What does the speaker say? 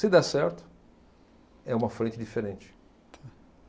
Se der certo, é uma frente diferente.